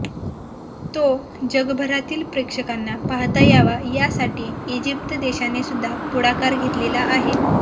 तो जगभरातील प्रेक्षकांना पहाता यावा यासाठी इजिप्त देशानेसुद्धा पुढाकार घेतलेला आहे